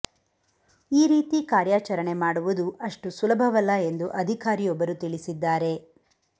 ಈ ರೀತಿ ಕಾರ್ಯಾಚರಣೆ ಮಾಡುವುದು ಅಷ್ಟು ಸುಲಭವಲ್ಲ ಎಂದು ಅಧಿಕಾರಿಯೊಬ್ಬರು ತಿಳಿಸಿದ್ದಾರೆ